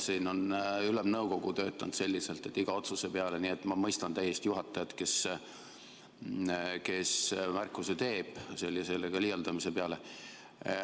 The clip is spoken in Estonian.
Siin on Ülemnõukogu töötanud selliselt, et iga otsuse peale, nii et ma mõistan täiesti juhatajat, kes märkuse teeb sellega liialdamise peale.